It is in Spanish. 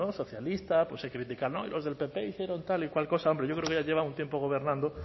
socialistas pues se critican no y los del pp tal y cual cosa hombre yo creo que ya llevan un tiempo gobernando